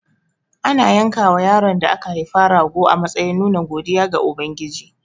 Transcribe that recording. Ana yankawa yaron da aka haifa rago a matsayin nuna godiya ga Ubangiji.